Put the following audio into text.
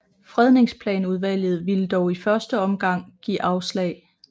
Fredningsplanudvalget ville dog i første omgang give afslag